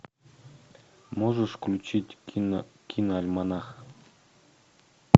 можешь включить киноальманах